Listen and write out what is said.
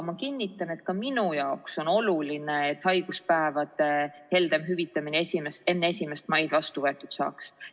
Ma kinnitan, et ka minu jaoks on oluline, et haiguspäevade heldem hüvitamine enne 1. maid vastu võetud saaks.